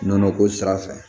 Nɔnɔ ko sira fɛ